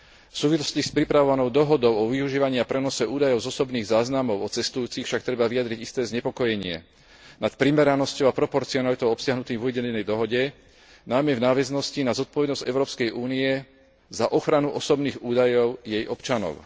V súvislosti s pripravovanou dohodou o využívaní a prenose údajov z osobných záznamov o cestujúcich však treba vyjadriť isté znepokojenie nad primeranosťou a proporcionalitou obsiahnutých v uvedenej dohode, najmä v nadväznosti na zodpovednosť Európskej únie za ochranu osobných údajov jej občanov.